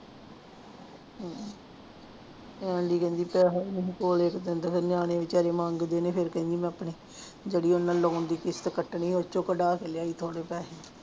ਕਹਿੰਦੀ ਕਹਿੰਦੀ ਫਿਰ ਨਿਆਣੇ ਬੇਚਾਰੇ ਮੰਗਦੇ ਨੇ ਫਿਰ ਕਹਿੰਦੀ ਮੈਂ ਆਪਣੇੇ ਜਿਹੜੀ ਉਹਨਾਂ ਦੀ ਕਿਸ਼ਤ ਕੱਟਣੀ ਉਹ ਚ ਕਢਾ ਕੇ ਲਿਆਈ ਥੋੜ੍ਹੇ ਪੈਸੇ।